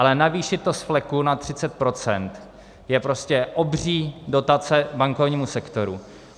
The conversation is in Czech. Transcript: Ale navýšit to z fleku na 30 % je prostě obří dotace bankovnímu sektoru.